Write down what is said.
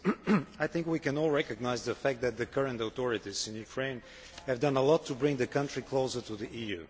Mr President, I think we can all recognise the fact that the current authorities in Ukraine have done a lot to bring the country closer to the EU.